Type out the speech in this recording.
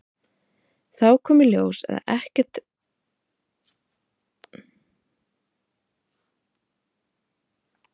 Þá kom í ljós að ekkert yrði af henni og hann sneri aftur til Írlands.